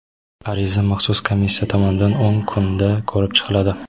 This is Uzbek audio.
Ariza maxsus komissiya tomonidan o‘n kunda ko‘rib chiqiladi.